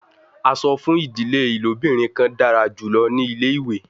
A sọ fun idile ilobirin kan dara julọ ni ile-iwe